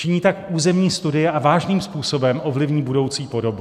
Činí tak územní studie a vážným způsobem ovlivní budoucí podobu.